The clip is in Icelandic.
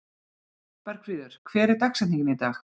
Bergfríður, hver er dagsetningin í dag?